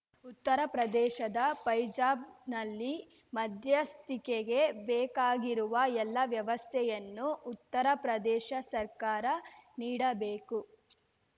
ಉತ್ತರ ಪ್ರದೇಶದ ಫೈಜಾಬ್ ನಲ್ಲಿ ಮಧ್ಯಸ್ಥಿಕೆಗೆ ಬೇಕಾಗಿರುವ ಎಲ್ಲಾ ವ್ಯವಸ್ಥೆಯನ್ನು ಉತ್ತರ ಪ್ರದೇಶ ಸರ್ಕಾರ ನೀಡಬೇಕು